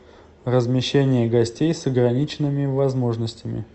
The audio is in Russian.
размещение гостей с ограниченными возможностями